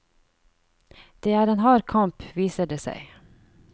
Det er en hard kamp, viser det seg.